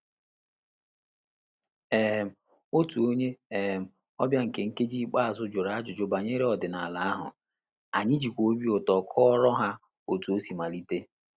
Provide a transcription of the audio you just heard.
um Otu onye um ọbịa nke nkeji ikpeazụ jụrụ ajụjụ banyere ọdịnala ahụ, anyị jikwa obi ụtọ kọọrọ ha otu osi mmalite